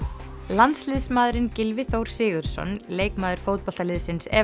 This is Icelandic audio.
landsliðsmaðurinn Gylfi Þór Sigurðsson leikmaður fótboltaliðsins